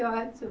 Que ótimo.